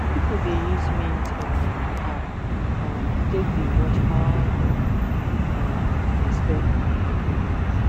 people dey use mint um app um take dey watch how dem um dey spend money every month